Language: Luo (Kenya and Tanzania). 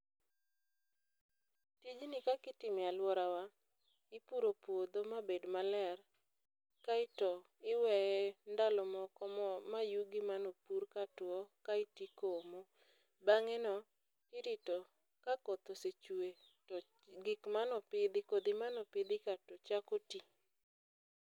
Tijni kaka itimo e alworawa, ipuro puodho mabed maler. Kaeto iweye ndalo moko, mo, ma yugi manopurka ka two, kaeto ikomo. Bangé no irito, ka koth osechwe, to gik mane opidhi, kodhi mane opidhi ka chako ti